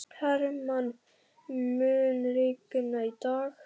Hermann, mun rigna í dag?